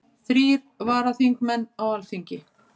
Þrír varaþingmenn á Alþingi